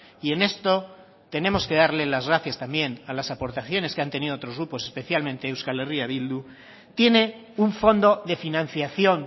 y en esto tenemos que darle las gracias también a las aportaciones que han tenido otros grupos especialmente euskal herria bildu tiene un fondo de financiación